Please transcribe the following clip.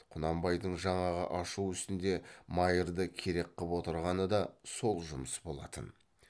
құнанбайдың жаңағы ашу үстінде майырды керек қып отырғаны да сол жұмыс болатын